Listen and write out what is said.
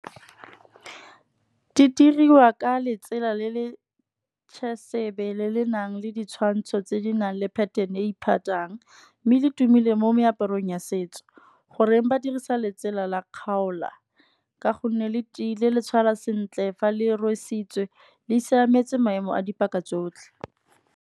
Di diriwa ka letsela le le le le nang le ditshwantsho, tse di nang le pattern e E iphathang. Mme le tumile mo meaparong ya setso, goreng ba dirisa letsela la kgaola. Ka gonne le tiile le tshwarwa sentle, fa le rwesitswe le siametse maemo a dipaka tsotlhe.